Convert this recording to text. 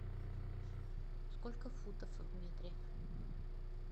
сколько футов в метре